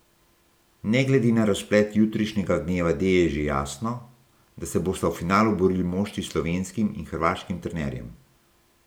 Ne glede na razplet jutrišnjega dneva D je že jasno, da se bosta v finalu borili moštvi s slovenskim in hrvaškim trenerjem.